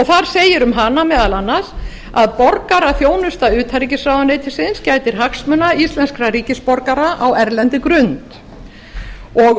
þar segir um hana meðal annars að borgaraþjónusta utanríkisráðuneytisins gætir hagsmuna íslenskra ríkisborgara á erlendri